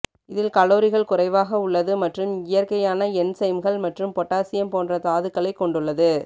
இதில் கலோரிகள் குறைவாக உள்ளது மற்றும் இயற்கையான என்சைம்கள் மற்றும் பொட்டாசியம் போன்ற தாதுக்களைக் கொண்டுள்ளது